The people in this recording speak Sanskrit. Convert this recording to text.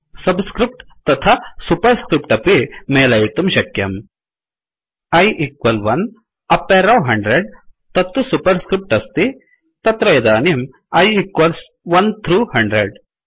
सब् स्क्रिफ्ट् तथा सुपर् स्क्रिफ्ट् अपि मेलयितुं शक्यम् I इक्वल् 1 अप् एरौ100तत्तु सुपर् स्क्रिफ्ट् अस्ति तत्र इदानीं I इक्वल्स् 1 थ्रू 100